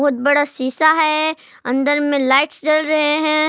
बहुत बड़ा शीशा है अंदर में लाइट्स जल रहे है।